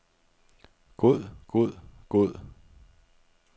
god god god